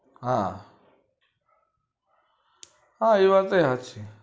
હા હા એ વાત હાચી